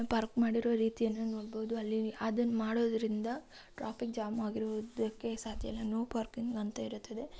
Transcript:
Park ಮಾಡಿರುವ ರೀತಿಯನ್ನು ನೋಡಬಹುದು. ಅಲ್ಲಿ ಅದನ್ನು ಮಾಡುವುದರಿಂದ ಟ್ರಾಫಿಕ್‌ ಜಾಮ್‌ ಆಗಿರೋದಕ್ಕೆ ನೋ ಪಾರ್ಕಿಂಗ್‌ ಅಂತಾ ಇರುತ್ತದೆ.